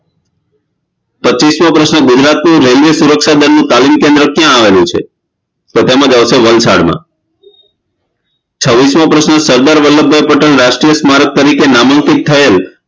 પચ્ચીસમો પ્રશ્ન ગુજરાતની રેલવે સુરક્ષા દળ નું તાલીમ કેન્દ્ર કયા આવેલું છે તો તેમા આવશે વલસાડમાં છવીસમો પ્રશ્ન સરદાર વલ્લભભાઈ પટેલ રાષ્ટ્રીય સ્મારક તરીકે નામાંકિત થયેલ